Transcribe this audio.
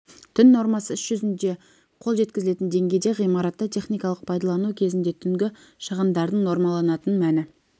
түн нормасы іс жүзінде қол жеткізілетін деңгейде ғимаратты техникалық пайдалану кезінде түнгі шығындардың нормаланатын мәні